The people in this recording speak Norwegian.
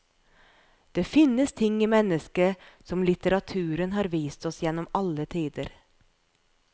Det finnes ting i mennesket som litteraturen har vist oss gjennom alle tider.